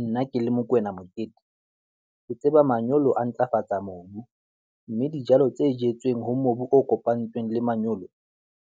Nna ke le Mokoena Mokete, ke tseba manyolo a ntlafatsa mobu mme dijalo tse jetsweng ho mobu o kopantsweng le manyolo